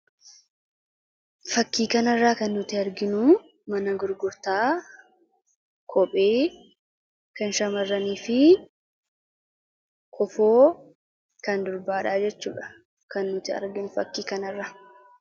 Fakkii kan irraa kan arginu mana gurgurtaa kophee fi kofoo shamarranii dha.